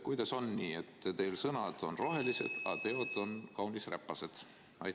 Kuidas on nii, et teie sõnad on rohelised, aga teod on kaunis räpased?